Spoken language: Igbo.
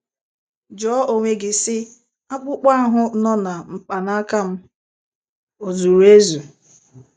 Jụọ onwe gị sị: 'Akpụkpọ ahụ nọ na mkpanaka m o zuru ezu?